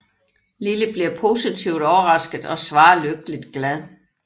Lily bliver positivt overrasket og svarer lykkeligt glad